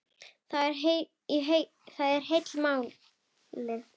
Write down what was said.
Það er heila málið!